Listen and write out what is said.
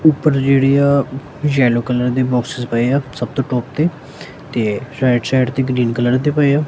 ਉਪਰ ਜਿਹੜੀ ਆ ਯੈਲੋ ਕਲਰ ਦੇ ਬੋਕ੍ਸਸ ਪਏ ਆ ਸਭ ਤੋਂ ਟੋਪ ਤੇ ਤੇ ਰਾਈਟ ਸਾਈਡ ਤੇ ਗ੍ਰੀਨ ਕਲਰ ਦੇ ਪਏ ਆ।